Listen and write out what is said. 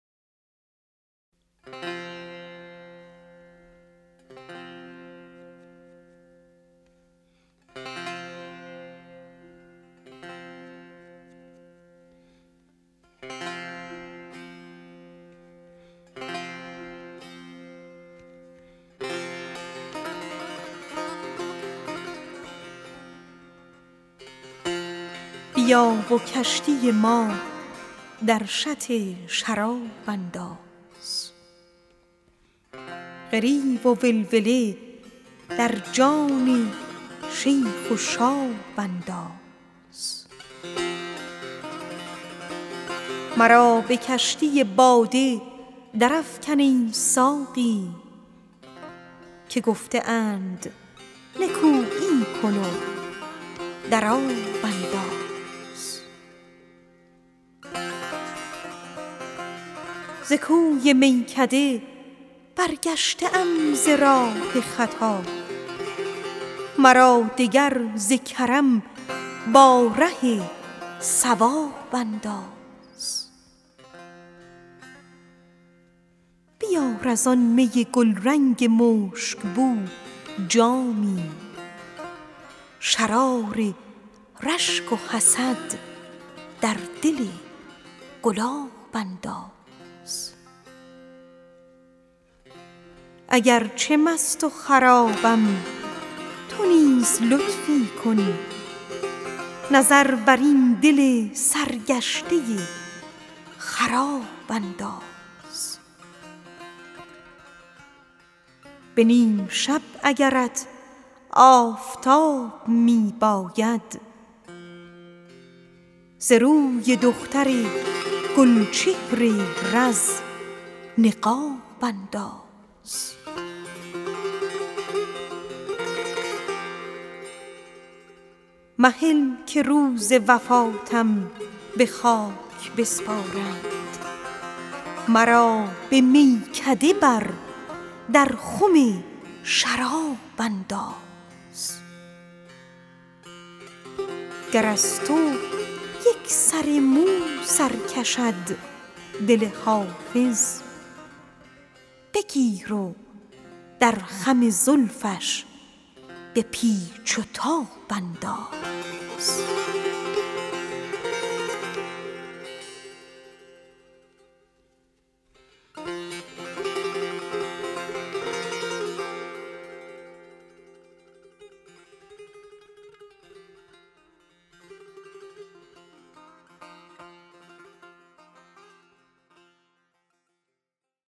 بیا و کشتی ما در شط شراب انداز خروش و ولوله در جان شیخ و شاب انداز مرا به کشتی باده درافکن ای ساقی که گفته اند نکویی کن و در آب انداز ز کوی میکده برگشته ام ز راه خطا مرا دگر ز کرم با ره صواب انداز بیار زآن می گلرنگ مشک بو جامی شرار رشک و حسد در دل گلاب انداز اگر چه مست و خرابم تو نیز لطفی کن نظر بر این دل سرگشته خراب انداز به نیم شب اگرت آفتاب می باید ز روی دختر گل چهر رز نقاب انداز مهل که روز وفاتم به خاک بسپارند مرا به میکده بر در خم شراب انداز ز جور چرخ چو حافظ به جان رسید دلت به سوی دیو محن ناوک شهاب انداز